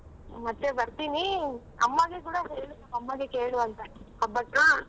ಮತ್ತೆ ಬರ್ತೀನೀ ಅಮ್ಮಗೆ ಕೂಡ ಹೇಳು ಅಮ್ಮಗೆ ಕೇಳು ಅಂತ ಹಬ್ಬಕ್ಕೆ.